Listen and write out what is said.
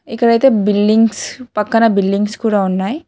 ఇక్కడైతే బిల్డింగ్స్ పక్కన బిల్డింగ్స్ కూడా ఉన్నాయి.